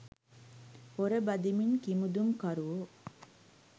පොර බදිමින් කිමිදුම් කරුවෝ